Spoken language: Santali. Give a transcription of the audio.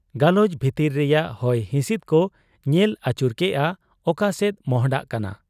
ᱜᱟᱞᱚᱪ ᱵᱷᱤᱛᱤᱨ ᱨᱮᱭᱟᱝ ᱦᱚᱭ ᱦᱤᱥᱤᱫ ᱠᱚ ᱧᱮᱞ ᱟᱹᱪᱩᱨ ᱠᱮᱜ ᱟ, ᱟᱠᱚᱥᱮᱫ ᱢᱚᱸᱦᱰᱟᱜ ᱠᱟᱱᱟ ᱾